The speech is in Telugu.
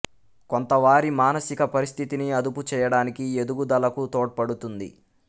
కొంత వారి మానసిక పరిస్థితిని అదుపు చేయడానికి ఎదుగుదలకు తోడ్పడుతుంది